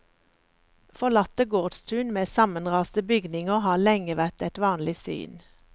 Forlatte gårdstun med sammenraste bygninger har lenge vært et vanlig syn.